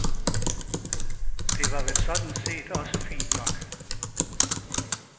Det var vel sådan set også fint nok.